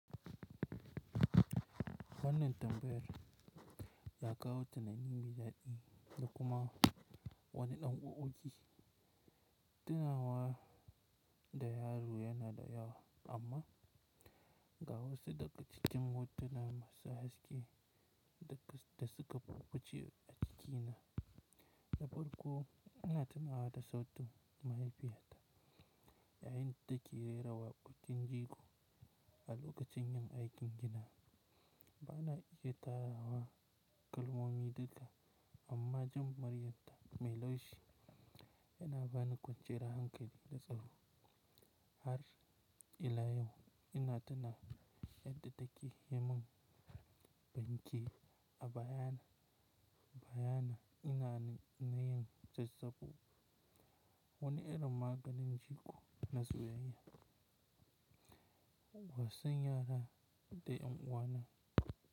Wannan tambayar ya kawo tunani maidaɗi da kuma wani ɗan ƙwafƙwafi. Tinawa da na lura yana da yawa amma ga wasu daga cikin hotuna masu haske da suka fuffu ce a jikina. Da farko ina tunawa da sautin mahaifiyata yayin da take rera waƙokin jiko a lokacin yin aikin gina. Ba na iya tarawa kalmomi duka amma jin muryarta mai laushi yana bani kwanciyar hankali da tsaro. Har ila yau ina tuna yadda take yimin banke a bayana bayana ina na yin zazzabu. Wani irin maganin jiko na soyayya wasan yara da ƴan uwana.